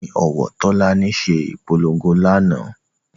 Ẹni òwò Tólání se ìpolongo lánàá